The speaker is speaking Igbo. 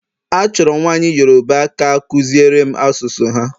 Achọrọ m nwanyị Yoruba ka akuziere m asụsụ ha